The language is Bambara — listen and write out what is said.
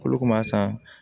K'olu kun b'a san